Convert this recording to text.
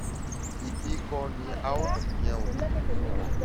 ibi kọ ni a ó ti yan oògùn fún ọ